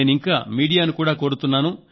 నేనింకా మీడియాను కూడా కోరుతున్నా